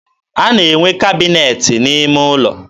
a na-enwe kabịnet n'ime ụlọ.